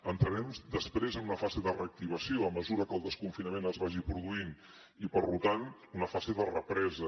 entrarem després en una fase de reactivació a mesura que el desconfinament es vagi produint i per tant una fase de represa